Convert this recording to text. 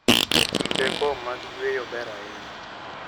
Kindego mag yueyo ber ahinya.